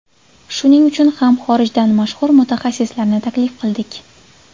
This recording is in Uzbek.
Shuning uchun ham xorijdan mashhur mutaxassislarni taklif qildik.